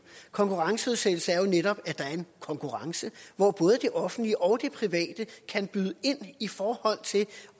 konkurrenceudsættelse er netop at der er en konkurrence hvor både det offentlige og det private kan byde ind i forhold til